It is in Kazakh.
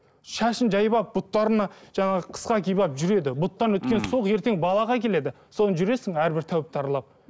шашын жайып алып бұттарына жаңағы қысқа киіп алып жүреді бұттан өткен суық ертең балаға келеді сосын жүресің әрбір тәуіпті аралап